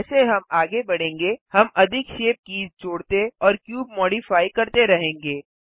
जैसे हम आगे बढेंगे हम अधिक शेप कीज़ जोड़ते और क्यूब मॉडिफाइ करते रहेंगे